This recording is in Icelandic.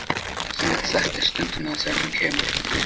Þú munt þekkja stundina þegar hún kemur.